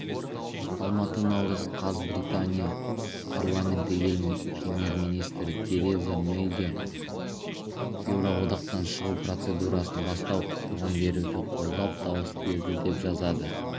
алматы наурыз қаз британия парламенті ел премьер-министрі тереза мэйге еуроодақтан шығу процедурасын бастау құқығын беруді қолдап дауыс берді деп жазады